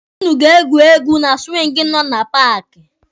Ụnụ ga-egwu egwu na siwingi nọ na paaki.